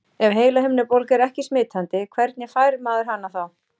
Ef heilahimnubólga er ekki smitandi, hvernig fær maður hana þá?